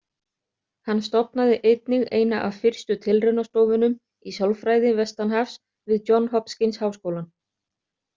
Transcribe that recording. Hann stofnaði einnig eina af fyrstu tilraunastofunum í sálfræði vestanhafs við Johns Hopkins-háskólann.